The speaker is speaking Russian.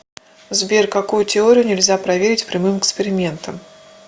сбер какую теорию нельзя проверить прямым экспериментом